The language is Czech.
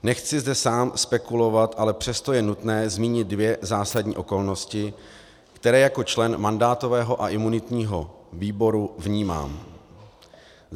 Nechci zde sám spekulovat, ale přesto je nutné zmínit dvě zásadní okolnosti, které jako člen mandátového a imunitního výboru vnímám.